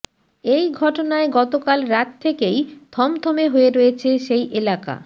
এই ঘটনায় গতকাল রাত থেকেই থমথমে হয়ে রয়েছে সেই এলাকা